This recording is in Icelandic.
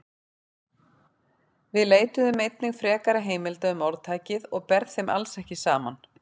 Við leituðum einnig frekari heimilda um orðtækið og ber þeim alls ekki saman.